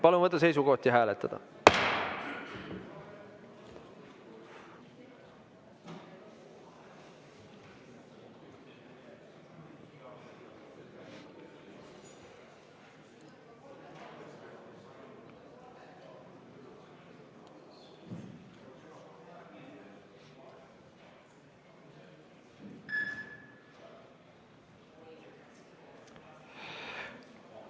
Palun võtta seisukoht ja hääletada!